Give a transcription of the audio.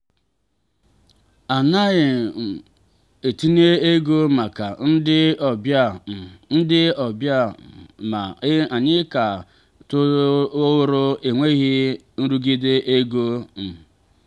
a naghị um m etinye ego maka ndị ọbịa um ndị ọbịa um ma anyị ka rụrụ ọrụ n’enweghị nrụgide ego. um